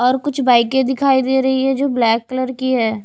और कुछ बाईके दिखाई दे रही है जो ब्लैक कलर की हैं।